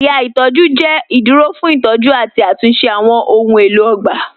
Awọn ẹ̀yà itọju jẹ iduro fun itọju ati atunṣe awọn ohun elo ogba.